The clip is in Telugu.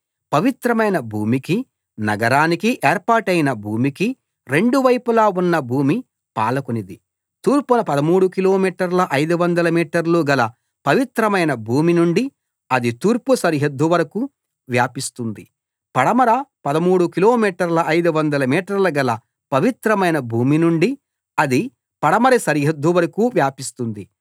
పవిత్రమైన భూమికి నగరానికి ఏర్పాటైన భూమికి రెండు వైపులా ఉన్న భూమి పాలకునిది తూర్పున 13 కిలోమీటర్ల 500 మీటర్లు గల పవిత్రమైన భూమి నుండి అది తూర్పు సరిహద్దు వరకూ వ్యాపిస్తుంది పడమర 13 కిలోమీటర్ల 500 మీటర్లు గల పవిత్రమైన భూమి నుండి అది పడమర సరిహద్దు వరకూ వ్యాపిస్తుంది